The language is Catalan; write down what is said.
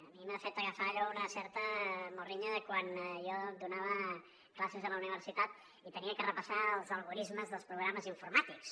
a mi m’ha fet agafar una certa morriña de quan jo donava classes a la universitat i havia de repassar els algorismes dels programes informàtics